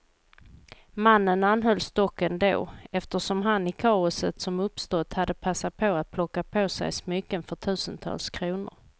Mannen anhölls dock ändå, eftersom han i kaoset som uppstått hade passat på att plocka på sig smycken för tusentals kronor.